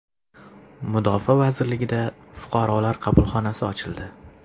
Mudofaa vazirligida Fuqarolar qabulxonasi ochildi.